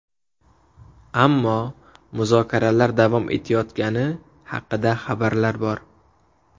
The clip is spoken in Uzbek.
Ammo muzokaralar davom etayotgani haqida xabarlar bor.